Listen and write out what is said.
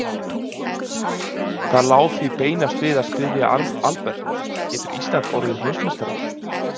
Það lá því beinast við að spyrja Albert, getur Ísland orðið Heimsmeistarar?